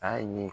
A ye